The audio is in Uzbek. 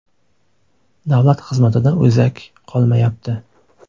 Davlat xizmatida o‘zak qolmayapti.